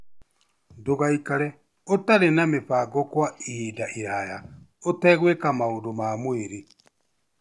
Ndũgaikare ũtarĩ na mĩbango kwa ihinda iraya ũtegwĩka maũndũ ma mwĩrĩ.